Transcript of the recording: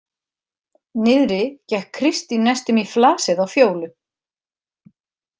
Niðri gekk Kristín næstum í flasið á Fjólu.